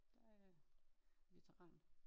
Der er jeg veteran